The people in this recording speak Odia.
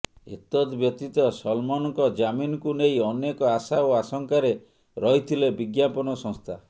ଏତଦ୍ବ୍ୟତୀତ ସଲ୍ମନ୍ଙ୍କ ଜାମିନ୍କୁ ନେଇ ଅନେକ ଆଶା ଓ ଆଶଙ୍କାରେ ରହିଥିଲେ ବିଜ୍ଞାପନ ସଂସ୍ଥା